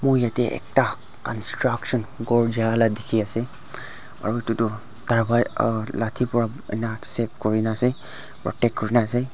yete ekta construction kor tiki ase aro etu tho aro lati vra ena set kurina ase rotate kurina ase.